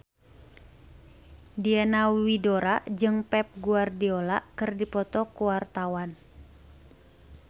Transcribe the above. Diana Widoera jeung Pep Guardiola keur dipoto ku wartawan